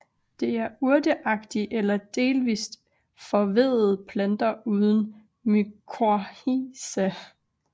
Det er urteagtige eller delvist forveddede planter uden mykorrhiza